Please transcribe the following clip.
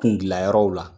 Kun gilan yɔrɔw la